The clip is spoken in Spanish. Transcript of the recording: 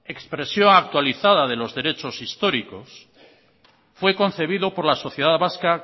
expresión actualizada de los derechos históricos fue concebido por la sociedad vasca